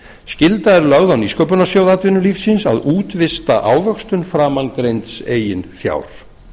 skylda er lögð á nýsköpunarsjóð atvinnulífsins að útvista ávöxtun framangreinds eigin fjár